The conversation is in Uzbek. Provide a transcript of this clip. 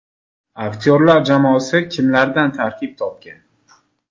Aktyorlar jamoasi kimlardan tarkib topgan?